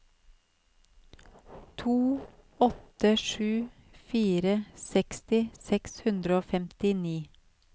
to åtte sju fire seksti seks hundre og femtini